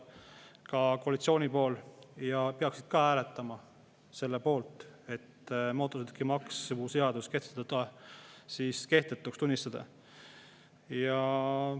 Ka koalitsiooni pool peaks hääletama selle poolt, et mootorsõidukimaksu seadus kehtetuks tunnistada.